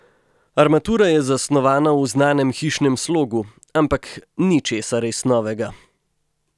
Armatura je zasnovana v znanem hišnem slogu, ampak ni česa res novega.